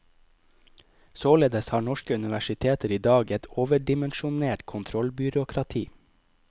Således har norske universiteter i dag et overdimensjonert kontrollbyråkrati.